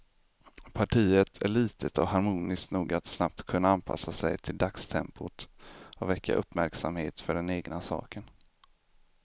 Partiet är litet och harmoniskt nog att snabbt kunna anpassa sig till dagstempot och väcka uppmärksamhet för den egna saken.